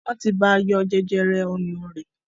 Wọn tí bá yọ jẹjẹrẹ ọyàn rẹ̀